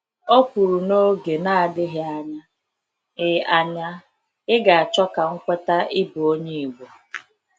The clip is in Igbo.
Ọ kwuru n'oge n'adịghị anya, ị anya, ị ga achọ ka m kweta ịbụ onye Igbo.